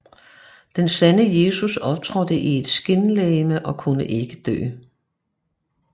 Den sande Jesus optrådte i et skinlegeme og kunne ikke dø